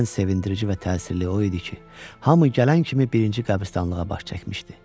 Ən sevindirici və təsirli o idi ki, hamı gələn kimi birinci qəbristanlığa baş çəkmişdi.